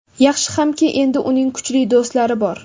Yaxshi hamki, endi uning kuchli do‘stlari bor.